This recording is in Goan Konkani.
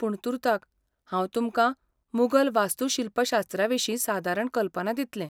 पूण तुर्ताक, हांव तुमकां मुगल वास्तूशिल्पशास्त्राविशीं सादारण कल्पना दितलें.